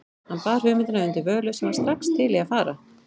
Hann bar hugmyndina undir Völu, sem var strax til í að fara.